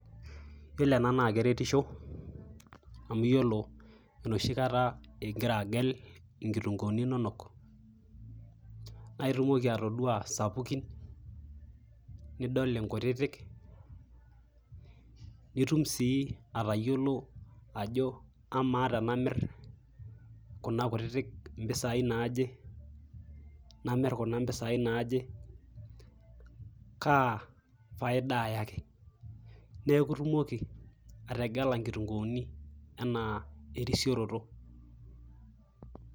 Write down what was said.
Iyiolo ena naake eretisho amu iyiolo enoshi kata ing'ira agel inkitunguuni inonok naake iyumoki atodua isapukin , nidol nkutitk nitum sii atayiolo ajo kamaa tenamir kuna kutitik impisai naaje, namir kuna mpisai naaje, kaa faida ayaki. Neeku itumoki ategela nkitunguuni enaa erisioroto.